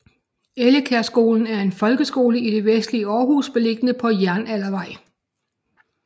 Ellekærskolen er en folkeskole i det vestlige Århus beliggende på Jernaldervej